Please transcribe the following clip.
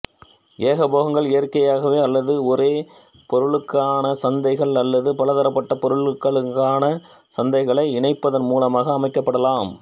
ஏகபோகங்கள் இயற்கையாகவோ அல்லது ஒரேப் பொருளுக்கான சந்தைகள் அல்லது பலதரப்பட்ட பொருட்களுக்கான சந்தைகளை இணைப்பதன் மூலமாக அமைக்கப்படலாம்